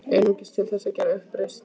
Einungis til þess að gera uppreisn.